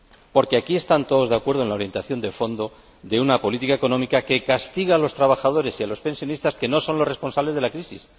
Porque aquí están todos de acuerdo en la orientación de fondo de una política económica que castiga a los trabajadores y a los pensionistas, que no son los responsables de la crisis.